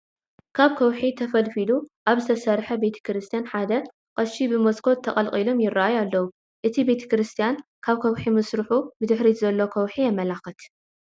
ካብ ከውሒ ተፈልፊሉ አብ ዝተሰርሐ ቤተ ክርስትያን ሓደ ቀሺ ብመስኮት ተቀልቂሎም ይረአዩ አለዉ፡፡ እቲ ቤተ ክርስትያን ካብ ከውሒ ምስርሑ ብድሕሪት ዘሎ ከውሒ የመላክት፡፡